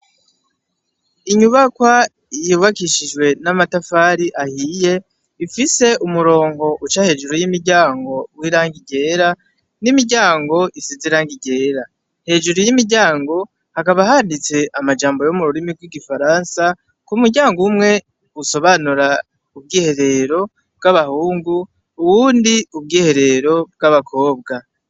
Inyubakwa yubakishijwe namatafari ahiye ifise umurongo uca hejuru y'imiryango w'iragi ryera, n'imiryango isize iragi ryera, hejuru y'imiryango hakaba handitse amajambo yo mururimi rw'igifaransa umuryango umwe usobanura ubwiherero bw'abahungu, uwundi ubwiherero bw'abakobwa.